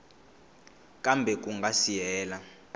kambe ku nga si hela